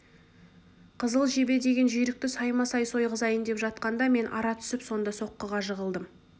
қызыл жебе деген жүйрікті саймасай сойғызайын деп жатқанда мен ара түсіп сонда соққыға жығылдым